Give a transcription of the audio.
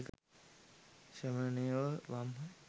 ශ්‍රමණයෝ වම් හ.